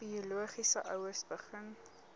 biologiese ouers begin